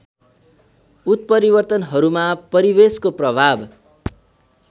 उत्परिवर्तनहरूमा परिवेशको प्रभाव